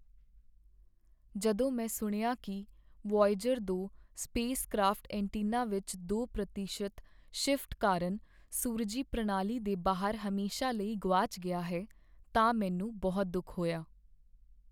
ਜਦੋਂ ਮੈਂ ਸੁਣਿਆ ਕੀ ਵੋਏਜਰ ਦੋ ਸਪੇਸ ਕਰਾਫ਼ਟ ਐਂਟੀਨਾ ਵਿੱਚ ਦੋ ਪ੍ਰਤੀਸ਼ਤ ਸ਼ਿਫਟ ਕਾਰਨ ਸੂਰਜੀ ਪ੍ਰਣਾਲੀ ਦੇ ਬਾਹਰ ਹਮੇਸ਼ਾ ਲਈ ਗੁਆਚ ਗਿਆ ਹੈ ਤਾਂ ਮੈਨੂੰ ਬਹੁਤ ਦੁੱਖ ਹੋਇਆ